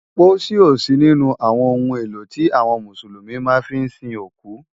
Pósí ó sí ninú áwòn óhún éló ti áwòn Músúlúmi má fi n sín ókú.